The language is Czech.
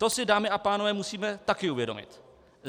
To si, dámy a pánové, musíme taky uvědomit.